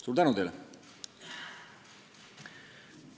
" Suur tänu teile!